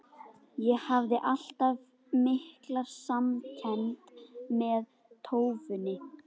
Ég hafði alltaf mikla samkennd með tófunni.